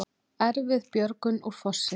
Erfið björgun úr fossi